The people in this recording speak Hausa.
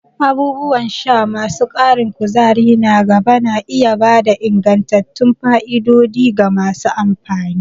Abubuwan sha masu ƙarin kuzari na gaba na iya ba da ingantattun fa'idodi ga masu amfani.